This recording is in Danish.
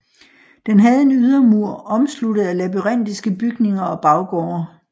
Den havde en ydermur omsluttet af labyrintiske bygninger og baggårde